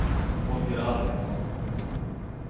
Holger Arvidsson